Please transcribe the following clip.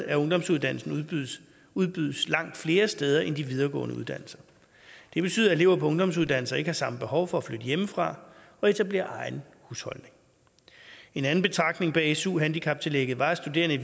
at ungdomsuddannelsen udbydes udbydes langt flere steder end de videregående uddannelser det betyder at elever på ungdomsuddannelser ikke har samme behov for at flytte hjemmefra og etablere egen husholdning en anden betragtning bag su handicaptillægget var at studerende